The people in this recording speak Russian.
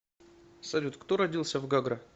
салют кто родился в гагра